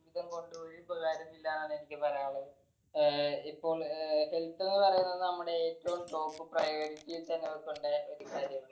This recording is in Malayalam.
ജീവിതം കൊണ്ട് ഒരു ഉപകാരോം ഇല്ല എന്നാണ് എനിക്ക് പറയാനുള്ളത് ഏർ ഇപ്പോ ഏർ health എന്ന് പറയുന്നത് നമ്മുടെ ഏറ്റവും top priority ഇൽ തന്നെ കൊടുക്കണ്ട ഒരു കാര്യവല്ലേ